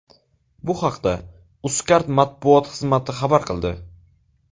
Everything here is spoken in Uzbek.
Bu haqda Uzcard matbuot xizmati xabar qildi .